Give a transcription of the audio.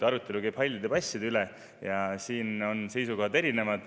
Arutelu käib hallide passide üle ja siin on seisukohad erinevad.